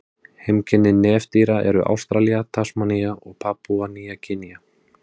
Heimkynni nefdýra eru Ástralía, Tasmanía og Papúa-Nýja Gínea.